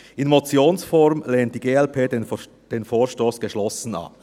In der Motionsform lehnt die glp den Vorstoss geschlossen ab.